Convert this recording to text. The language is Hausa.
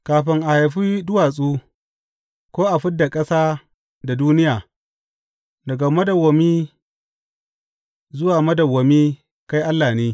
Kafin a haifi duwatsu ko a fid da ƙasa da duniya, daga madawwami zuwa madawwami kai Allah ne.